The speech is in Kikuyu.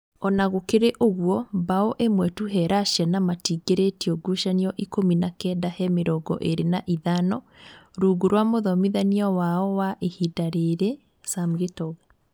Ona gũkĩrĩ ũguo, mbaũ ĩmwe tu he Russia na matiingiritio ngucanio ikũmi na kenda he mĩrongo ĩrĩ na ithano rungu rwa mũthomithania wao wa ihinda rĩrĩ ,Sam Gitonga